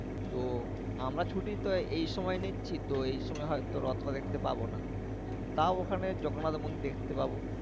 তো আমরা ছুটি তো এই সময় নিচ্ছি তো এই সময় হয়তো রত টা দেখতে পাবো না টাও ওখানে জগন্নাথ মন্দির দেখতে পাবো।